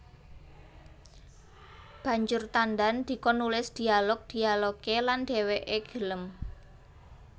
Banjur Tandan dikon nulis dialog dialogé lan dhèwèké gelem